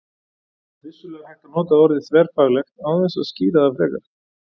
Vissulega er hægt að nota orðið þverfaglegt án þess að skýra það frekar.